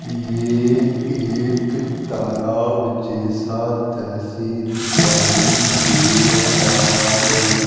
ये एक तलाब जैसा दृश्ये दिखाई दे रहा है।